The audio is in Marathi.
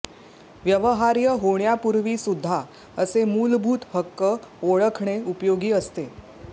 व्यवहार्य होण्यापूर्वीसुद्धा असे मूलभूत हक्क ओळखणे उपयोगी असते